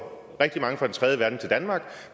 rigtig mange fra den tredje verden til danmark